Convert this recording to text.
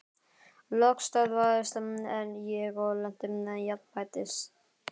Loks stöðvaðist ég og lenti jafnfætis.